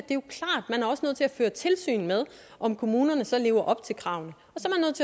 føre tilsyn med om kommunerne så lever op til kravene